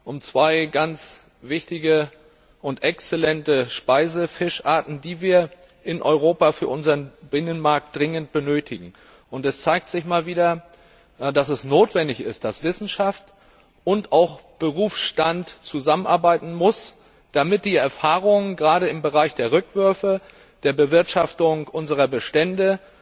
um zwei ganz wichtige und exzellente Speisefischarten, die wir in Europa für unseren Binnenmarkt dringend benötigen. Und es zeigt sich wieder einmal, dass es notwendig ist, dass Wissenschaft und auch Berufsstand zusammenarbeiten müssen, damit die Erfahrungen gerade im Bereich der Rückwürfe oder der Bewirtschaftung unserer Bestände,